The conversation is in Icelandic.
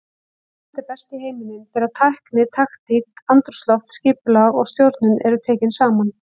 England er best í heiminum þegar tækni, taktík, andrúmsloft, skipulag og stjórnun eru tekin saman.